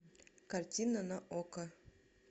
картина на окко